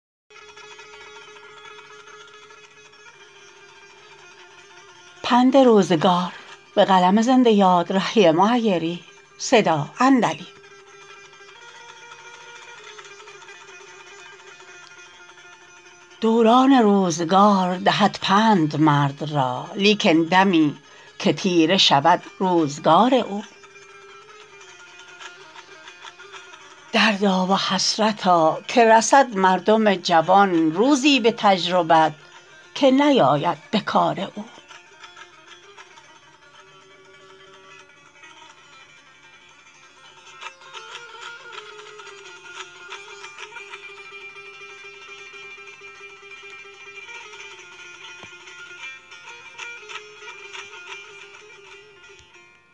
دوران روزگار دهد پند مرد را لیکن دمی که تیره شود روزگار او دردا و حسرتا که رسد مردم جوان روزی به تجربت که نیاید به کار او